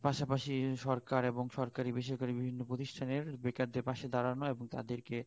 এর পাশা পাশি সরকার এবং সরকারি বেসরকারি বিভিন্ন প্রতিস্টানের বেকার দের পাশে দাঁড়ানো এবং তাদের কে